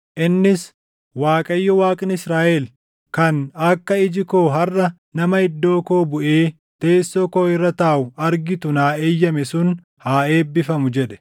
innis, ‘ Waaqayyo, Waaqni Israaʼel kan akka iji koo harʼa nama iddoo koo buʼee teessoo koo irra taaʼu argitu naa eeyyame sun haa eebbifamu’ jedhe.”